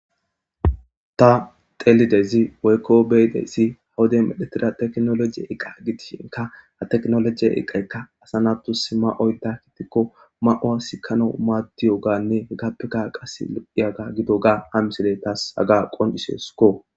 ta telidezi woykko beyidesi hawude medhetira teknolojiye iqa gitishinka a teknolojiye eqaykka asanatus ma7oy da kitikko ma7oa sikano maaddiyo ganne hegappeka qas iyaga gido ga amisile taas haga qoncisesukko